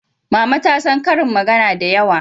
Mama ta san ƙarin magana da yawa